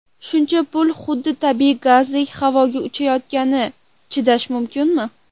Shuncha pul xuddi tabiiy gazdek havoga uchayotganiga chidash mumkinmi?